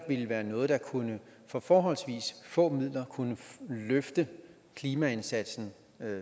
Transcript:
være noget der for forholdsvis få midler kunne løfte klimaindsatsen